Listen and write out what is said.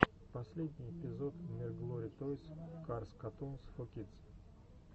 последний эпизод мирглори тойс карс катунс фо кидс